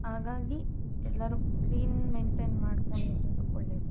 ಹಾಗಾಗಿ ಎಲ್ಲರು clean maintain ಮಾಡಕೊಂಡಿರೋದು ಒಳ್ಳೆದು.